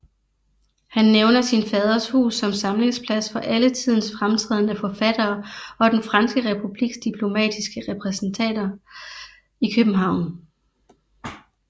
Han nævner sin faders hus som samlingsplads for alle tidens fremtrædende forfattere og den franske republiks diplomatiske repræsentater i København